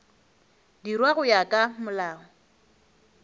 dirwa go ya ka molao